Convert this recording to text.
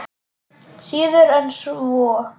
Síður en svo.